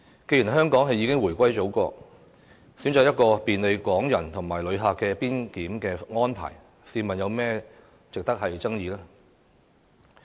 既然香港已回歸中國，選擇便利港人和旅客的邊檢安排，試問又有甚麼值得爭議？